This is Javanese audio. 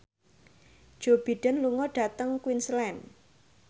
Joe Biden lunga dhateng Queensland